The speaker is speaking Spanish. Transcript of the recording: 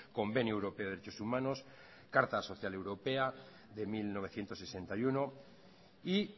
convenio europeo de derechos humanos carta social europea de mil novecientos sesenta y uno y